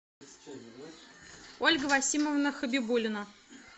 ольга васимовна хабибулина